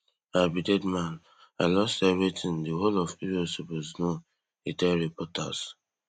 i be dead man i lost everytin di whole of euro suppose know e tell reporters